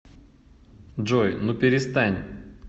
джой ну перестань